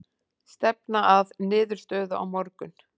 Stefna að niðurstöðu á morgun